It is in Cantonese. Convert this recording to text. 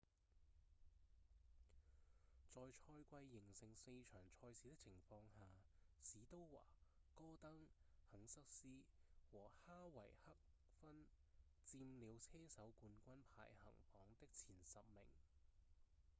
在賽季仍剩四場賽事的情況下史都華、戈登、肯瑟斯和哈維克分佔了車手冠軍排行榜的前十名